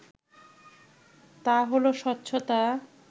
তা হলো স্বচ্ছতা